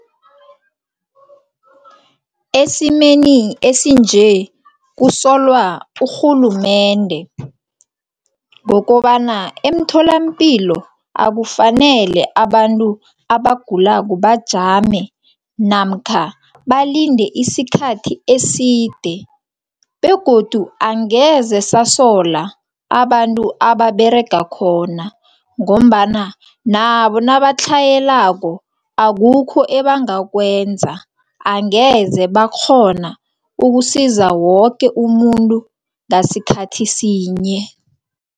Esimeni esinje kusolwa urhulumende ngokobana emtholampilo akufanele abantu abagulako bajame namkha balinde isikhathi eside begodu angeze sasola abantu ababerega khona. Ngombana nabo nabatlhayelako akukho ebangakwenza angeze bakghona ukusiza woke umuntu ngasikhathi sinye.